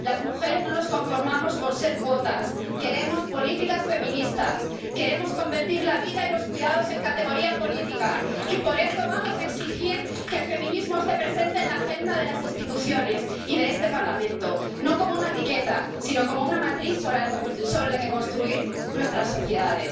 Las mujeres no nos conformamos con ser cuotas, queremos políticas feministas, queremos convertir la vida y los cuidados en categoría política, y por eso vamos a exigir que el feminismo esté presente en la agenda de las instituciones y de este Parlamento no como una etiqueta, sino como una matriz sobre la que construir nuestras sociedades.